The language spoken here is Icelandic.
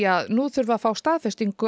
að nú þurfi að fá staðfestingu